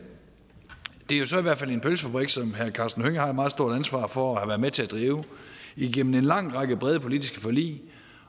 det er så i hvert fald en pølsefabrik som herre karsten hønge har et meget stort ansvar for at have været med til at drive igennem en lang række brede politiske forlig